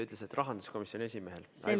Öeldi, et rahanduskomisjoni esimehel on sünnipäev.